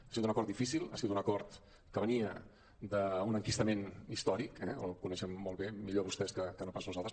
ha sigut un acord difícil ha sigut un acord que venia d’un enquistament històric eh el coneixen molt bé millor vostès més que no pas nosaltres